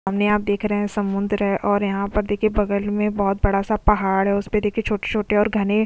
सामने आप देख रहे है समंदर है और यहा पर दिखाई बगल में बहुत बड़ा सा पहाड़ है उसमे देखे छोटे छोटे और घने --